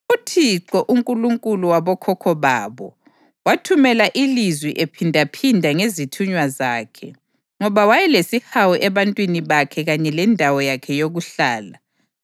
UThixo, uNkulunkulu wabokhokho babo, wathumela ilizwi ephindaphinda ngezithunywa zakhe, ngoba wayelesihawu ebantwini bakhe kanye lendawo yakhe yokuhlala.